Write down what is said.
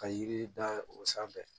Ka yiri da o sanfɛ